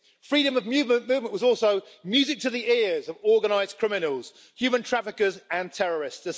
Freedom of movement was also music to the ears of organised criminals, human traffickers and terrorists.